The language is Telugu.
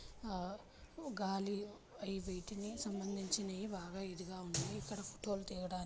ఆ గాలిలో ఈ వైట్ కు సంబందించిన బాగా ఇదిగా ఉన్నాయి ఇక్కడ ఫోటో లు దిగడ --